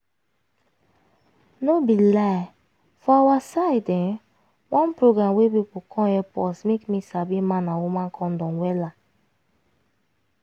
no be lie for awa side[um]one program wey pipu come epp us make me sabi man and woman condom wella